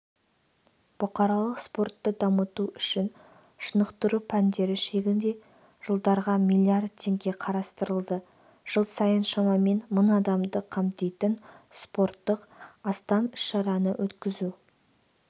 бұқаралық спортты дамыту үшін шынықтыру пәндері шегінде жылдарға млрд теңге қарастырылды жыл сайын шамамен мың адамды қамтитын спорттық астам іс-шараны өткізу